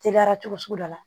Teliyara cogo sugu dɔ la